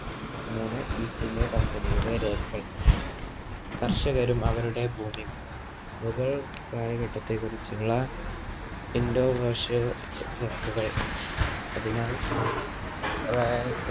മൂന്ന് east India കമ്പനിയുടെ രേഖകൾ കർഷകരും അവരുടെ ഭൂമി മുഗൾ കാലഘട്ടത്തെക്കുറിച്ചുള്ള ഇൻഡോ റഷ്യ വിലക്കുകൾ അതിനാൽ